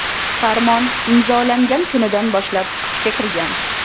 Farmon imzolangan kunidan boshlab kuchga kirgan.